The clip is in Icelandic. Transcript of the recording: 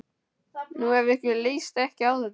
Nú, ef ykkur líst ekki á þetta.